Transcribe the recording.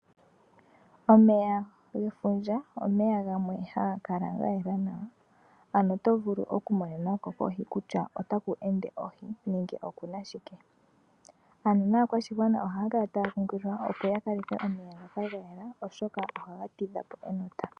Omeya gefundja, omeya gamwe haga kala ga yela nawa, ano otovulu oku mona ko kohi kutya otaku ende ohi, nenge okuna shike. Ano naakwashigwana ohaya kala taya kunkililwa opo ya kaleke omeya ngoka ga yela oshoka ohaga tidha po enota.